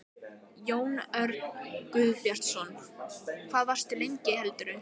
Jón Örn Guðbjartsson: Hvað varstu lengi heldurðu?